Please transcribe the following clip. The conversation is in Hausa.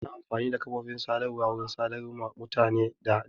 Ana amfani da kafofin sadarwa wurin sadarwa ma mutane da nesa